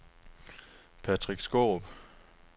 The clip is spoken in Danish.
Patrick Skaarup